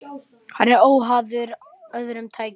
Hann er óháður öðrum tekjum.